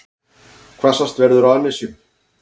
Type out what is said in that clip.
Hvassast verður á annesjum